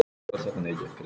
Ég get það ekki